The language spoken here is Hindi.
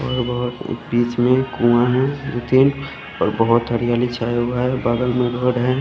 और बोहोत बिच में कुआ है उतिन और बोहोत हरियाली छाया हुआ है बादल मरोड़ है।